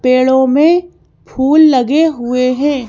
पेड़ों में फूल लगे हुए हैं।